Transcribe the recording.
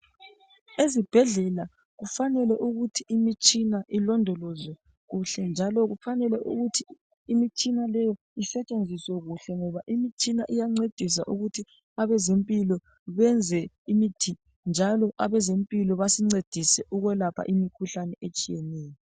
Ezibhedlela kufanele ukuthi imitshina ilondolozwe kuhle njalo kufanele ukuthi imitshina leyi isentshenziswa kuhle, ngoba imitshina leyi iyancedisa ukuthi abazempilo benze imithi njalo abazempilo basincedise ukuyelapha imikhuhlane etshiyeneyo.